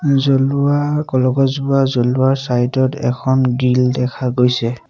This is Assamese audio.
জ্বলোৱা কলগছ জ্বলোৱাৰ চাইড ত এখন গ্ৰিল দেখা গৈছে।